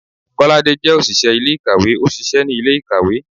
kolade jẹ oṣiṣẹ ilé-ikáwe, o ṣiṣẹ ni ile-ikáwe.